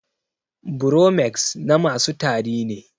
Bromex na masu tari ne